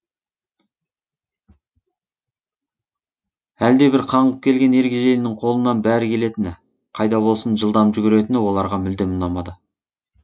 әлдебір қаңғып келген ергежейлінің қолынан бәрі келетіні қайда болсын жылдам жүгіретіні оларға мүлдем ұнамады